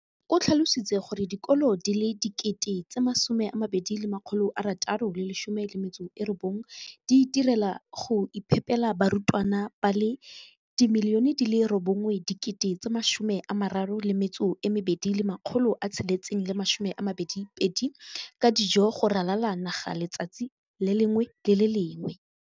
o tlhalositse gore dikolo di le 20 619 di itirela le go iphepela barutwana ba le 9 032 622 ka dijo go ralala naga letsatsi le lengwe le le lengwe.